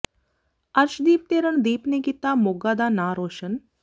ਅਰਸ਼ਦੀਪ ਤੇ ਰਣਦੀਪ ਨੇ ਕੀਤਾ ਮੋਗਾ ਦਾ ਨਾਂ ਰੌਸ਼ਨ